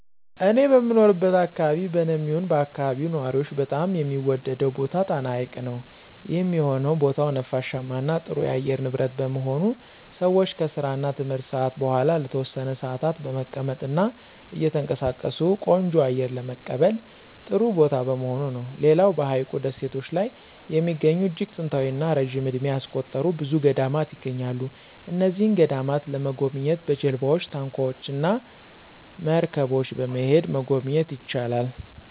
እኔ በምኖርበት አከባቢ በኔም ይሁን በአከባቢው ነዋሪዎች በጣም የሚወደደው ቦታ ጣና ሀይቅ ነው። ይህም የሆነው ቦታው ነፋሻማ እና ጥሩ የአየር ንብረት በመሆኑ ሰወች ከስራ እና ትምህርት ሰአት በኋላ ለተወሰነ ሰአታት በመቀመጥ እና እየተንቀሳቀሱ ቆንጆ አየር ለመቀበል ጥሩ ቦታ በመሆኑ ነው። ሌላው በሀይቁ ደሴቶች ላይ የሚገኙ እጅግ ጥንታዊ እና ረጅም እድሜ ያስቆጠሩ ብዙ ገዳማት ይገኛሉ። እነዚህን ገዳማት ለመጎብኘት በጀልባወች፣ ታንኳወች እና መርገቦች በመሄድ መጎብኘት ይቻላል።